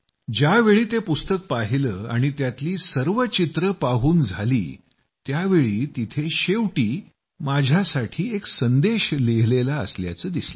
ज्यावेळी ते पुस्तक पाहिलं आणि त्यातली सर्व छायाचित्रं माझी पाहून झाली त्यावेळी तिथं शेवटी माझ्यासाठी एक संदेश लिहिलेला असल्याचं दिसलं